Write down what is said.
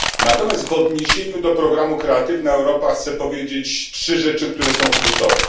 Natomiast w odniesieniu do programu Kreatywna Europa chcę powiedzieć trzy rzeczy, które są kluczowe.